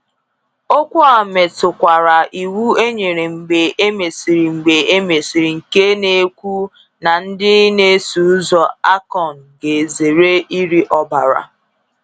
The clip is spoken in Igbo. Okwu a metụkwara iwu e nyere mgbe e mesịrị mgbe e mesịrị nke na-ekwu na ndị na-eso ụzọ Akon ga-ezere iri ọbara.